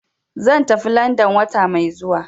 Zan tafi London wata mai zuwa.